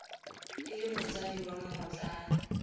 e le motsadi wa mmotlana